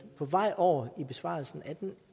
på vej over i besvarelsen af den